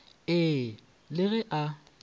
ee e le ge a